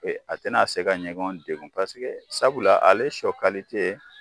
A tɛna se ka ɲɔgɔn degun sabula ale sɔ